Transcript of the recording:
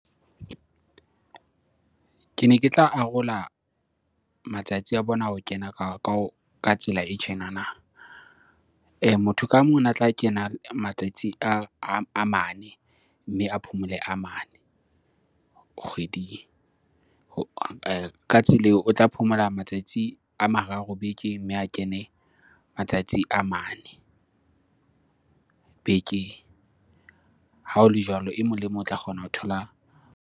Kene ke tla arola matsatsi a bona a ho kena ka tsela e tjenana. Motho ka mong ona tla kena matsatsi a mane mme a phomole a mane kgweding. Ka tsela eo o tla phomola matsatsi a mararo bekeng, mme a kene matsatsi a mane bekeng. Ha ho le jwalo e mong le mong o tla kgona ho thola .